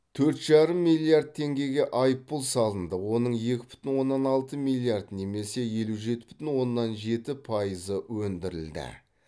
төрт жарым миллиард теңгеге айыппұл салынды оның екі бүтін оннан алты миллиард немесе елу жеті бүтін оннан жеті пайызы өндірілді